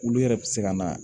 Olu yɛrɛ bɛ se ka na